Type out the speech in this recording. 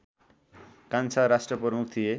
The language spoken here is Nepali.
कान्छा राष्ट्रप्रमुख थिए